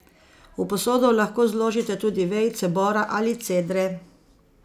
V posodo lahko zložite tudi vejice bora ali cedre.